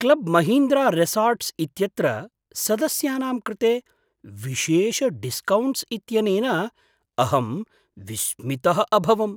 Club Mahindra resorts इत्यत्र सदस्यानां कृते विशेषडिस्कौण्ट्स् इत्यनेन अहम् विस्मितः अभवम्।